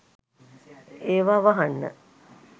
ඒවා වහන්න